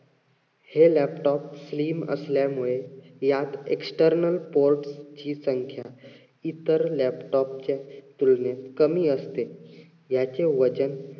हे laptop slim असल्यामुळे यात external port ची संख्या इत्तर laptop च्या तुलनेत कमीअसते. याचे वजन